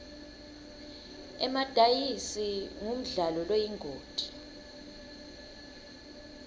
emadayizi ngumdlalo loyingoti